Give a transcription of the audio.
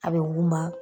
A bɛ wima